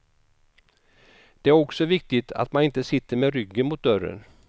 Det är också viktigt att man inte sitter med ryggen mot dörren.